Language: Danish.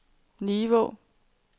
Nivå